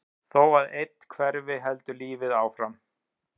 Þó að einn hverfi heldur lífið áfram.